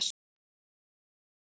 Anna Katrín.